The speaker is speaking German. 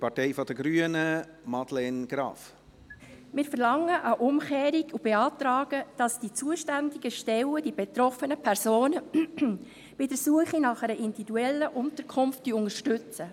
Wir verlangen eine Umkehrung und beantragen, dass die zuständigen Stellen die betroffenen Personen bei der Suche nach einer individuellen Unterkunft unterstützen.